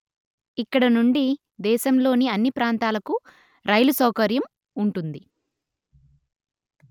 ఇక్కడి నుండి దేశంలోని అన్ని ప్రాంతాలకు రైలు సౌకర్యం ఉంటుంది